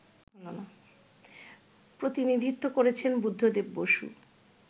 প্রতিনিধিত্ব করেছেন বুদ্ধদেব বসু